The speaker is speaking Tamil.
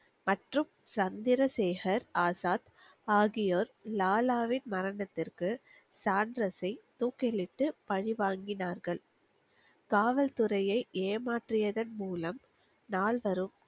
மற்றும் சந்திரசேகர் ஆசாத் ஆகியோர் லாலாவின் மரணத்திற்கு சாண்டர்ஸை தூக்கிலிட்டு பழி வாங்கினார்கள் காவல்துறையை ஏமாற்றியதன் மூலம் நால்வரும்